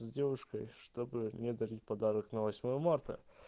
с девушкой чтобы не дарить подарок на восьмое марта